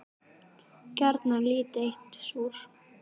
Gjarnan lítið eitt súr.